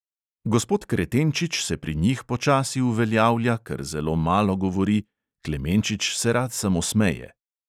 Gospod kretenčič se pri njih počasi uveljavlja, ker zelo malo govori, klemenčič se rad samo smeje.